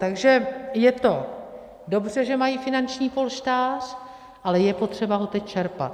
Takže je to dobře, že mají finanční polštář, ale je potřeba ho teď čerpat.